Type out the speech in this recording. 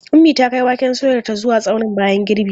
Ummi ta kai waken soyarta zuwa tsaunin bayan girbi.